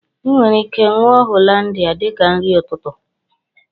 I nwere ike ṅụọ Hollandia dika nri ụtụtụ